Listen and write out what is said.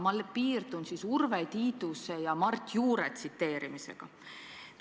Ma piirdun siis Urve Tiiduse ja Mart Juure tsiteerimisega.